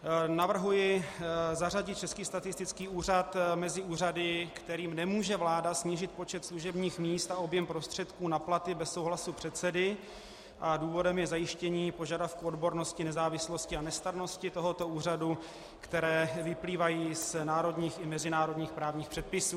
Navrhuji zařadit Český statistický úřad mezi úřady, kterým nemůže vláda snížit počet služebních míst a objem prostředků na platy bez souhlasu předsedy, a důvodem je zajištění požadavku odbornosti, nezávislosti a nestrannosti tohoto úřadu, které vyplývají z národních i mezinárodních právních předpisů.